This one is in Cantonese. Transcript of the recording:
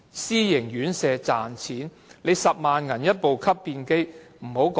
私營院舍只為賺錢，要花10萬元購買吸便機？